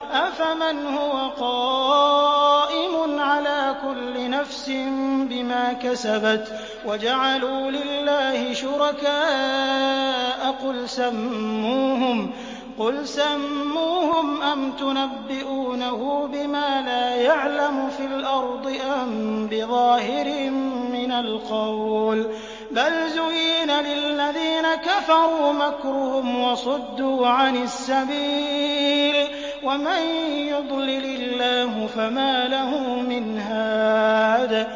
أَفَمَنْ هُوَ قَائِمٌ عَلَىٰ كُلِّ نَفْسٍ بِمَا كَسَبَتْ ۗ وَجَعَلُوا لِلَّهِ شُرَكَاءَ قُلْ سَمُّوهُمْ ۚ أَمْ تُنَبِّئُونَهُ بِمَا لَا يَعْلَمُ فِي الْأَرْضِ أَم بِظَاهِرٍ مِّنَ الْقَوْلِ ۗ بَلْ زُيِّنَ لِلَّذِينَ كَفَرُوا مَكْرُهُمْ وَصُدُّوا عَنِ السَّبِيلِ ۗ وَمَن يُضْلِلِ اللَّهُ فَمَا لَهُ مِنْ هَادٍ